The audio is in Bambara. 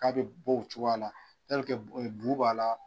K'a bɛ bɔ o cogoya la bo b'a la